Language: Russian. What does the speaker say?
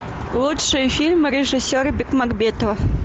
лучшие фильмы режиссера бекмамбетова